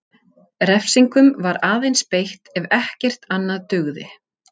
Refsingum var aðeins beitt ef ekkert annað dugði.